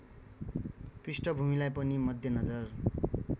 पृष्ठभूमिलाई पनि मध्यनजर